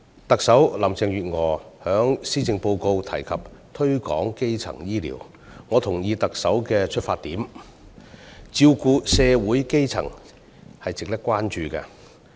特首林鄭月娥在施政報告中提及推廣基層醫療，我同意特首的出發點，照顧社會基層是值得關注的事項。